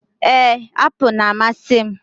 Ee, apụl na-amasị m.